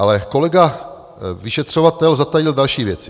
Ale kolega vyšetřovatel zatajil další věci.